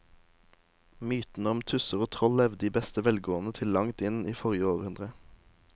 Mytene om tusser og troll levde i beste velgående til langt inn i forrige århundre.